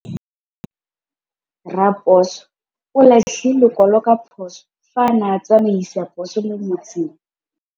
Raposo o latlhie lekwalô ka phosô fa a ne a tsamaisa poso mo motseng.